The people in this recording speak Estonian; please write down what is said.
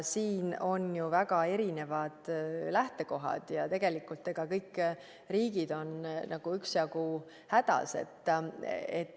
Siin on ju väga erinevad lähtekohad ja tegelikult kõik riigid on nagu üksjagu hädas.